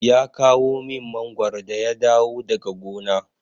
Ya kawo min mangwaro da ya dawo daga gona.